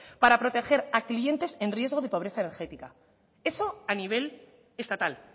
para proteger a clientes en riesgo de pobreza energética eso a nivel estatal